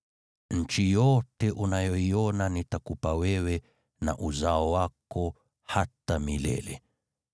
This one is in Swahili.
Nchi yote unayoiona nitakupa wewe na uzao wako hata milele.